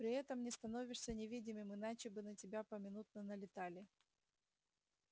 при этом не становишься невидимым иначе бы на тебя поминутно налетали